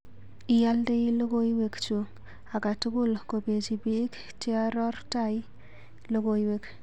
Iyaldai logoiwekchu akatukul kopechi piik chearortai logoiwek.